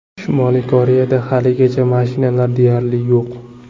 Shimoliy Koreyada haligacha mashinalar deyarli yo‘q.